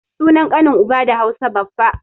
Sunan ƙanin uba da Hausa baffa